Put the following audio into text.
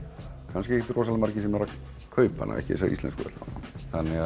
kannski ekkert rosalega margir sem eru að kaupa hana ekki þessa íslensku allavega þannig